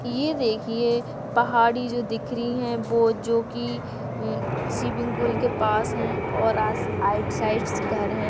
ये देखिये पहाड़ी जो दिख रही है वो जो की अं स्विमिंग पूल के पास है और राईट साइड्स घर है।